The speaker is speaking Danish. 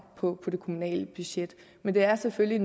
på det kommunale budget men det er selvfølgelig